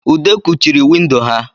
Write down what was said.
ude kuchiri windo ha